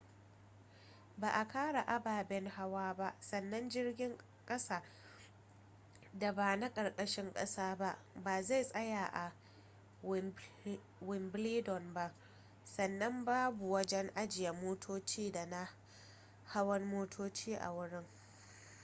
ba a kara ababen hawa ba sannan jirgin kasa da ba na karkashin kasa ba ba zai tsaya a wimbledon ba sannan babu wajen ajiye motoci da na hawan motoci a wurin